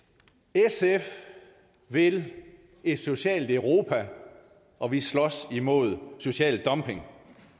sf vil et socialt europa og vi slås imod social dumping